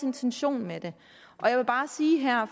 intention med det jeg vil bare sige her